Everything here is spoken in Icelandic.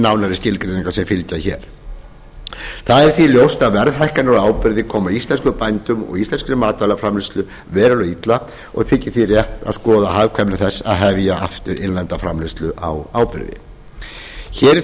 nánari skilgreiningar sem fylgja hér því er ljóst að verðhækkanir á áburði koma íslenskum bændum verulega illa og þykir því rétt að skoða hagkvæmni þess að hefja aftur innlenda framleiðslu á áburði hér